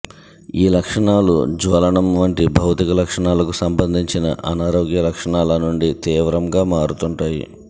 ఈ లక్షణాలు జ్వలనం వంటి భౌతిక లక్షణాలకు సంబంధించిన అనారోగ్య లక్షణాల నుండి తీవ్రంగా మారుతుంటాయి